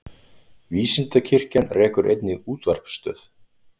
Vísindakirkjan rekur einnig útvarpsstöð.